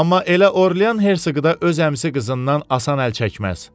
Amma elə Orlyan Hersoğu da öz əmisi qızından asan əl çəkməz.